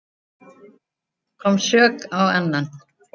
Kom sök á annan